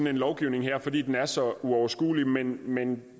en lovgivning her fordi den er så uoverskuelig men men